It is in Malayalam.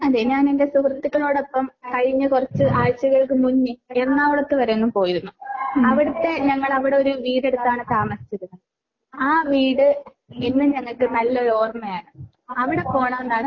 അതെ ഞാൻ എന്റെ സുഹൃത്തുക്കളോടൊപ്പം കഴിഞ്ഞ കുറച്ച് ആഴ്ചകൾക്കു മുന്നേ എറണാകുളത്ത് വരെയൊന്ന് പോയിരുന്നു. അവിടുത്തെ ഞങ്ങള് അവിടെ ഒരു വീട് എടുത്താട്ടാണ് താമസിച്ചിരുന്നത്. ആ വീട് എന്നും ഞങ്ങൾക്ക് നല്ലൊരു ഓർമ്മയാണ്. അവിടെ പോണന്നാണ് .